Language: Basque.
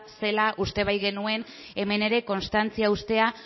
zela uste baikenuen hemen ere konstantzia ustea